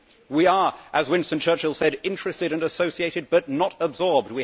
We are, as Winston Churchill said, interested and associated but not absorbed'.